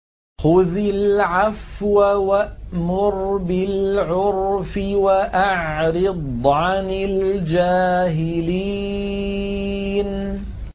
خُذِ الْعَفْوَ وَأْمُرْ بِالْعُرْفِ وَأَعْرِضْ عَنِ الْجَاهِلِينَ